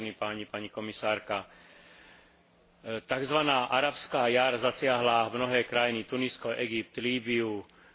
Takzvaná arabská jar zasiahla mnohé krajiny Tunisko, Egypt, Lýbiu, Sýriu, Jemen, ale aj Bahrajn.